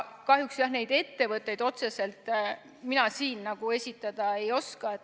Kahjuks neid ettevõtteid mina siin esitada ei oska.